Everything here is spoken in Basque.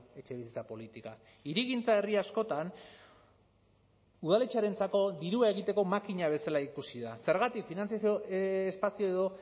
etxebizitza politika hirigintza herri askotan udaletxearentzako dirua egiteko makina bezala ikusi da zergatik finantzazio espazio edo